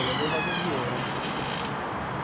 Ele é do Rosas de Ouro, infelizmente.